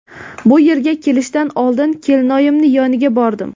Bu yerga kelishdan oldin kelinoyimning yoniga bordim.